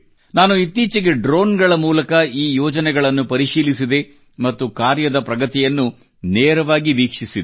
ನಾನು ಇತ್ತೀಚೆಗೆ ಡ್ರೋನ್ ಗಳ ಮೂಲಕ ಈ ಯೋಜನೆಗಳನ್ನು ಪರಿಶೀಲಿಸಿದೆ ಮತ್ತು ಕಾರ್ಯದ ಪ್ರಗತಿಯನ್ನು ನೇರವಾಗಿ ವೀಕ್ಷಿಸಿದೆ